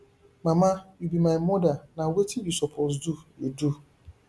mama you be my mother na wetin you suppose do you do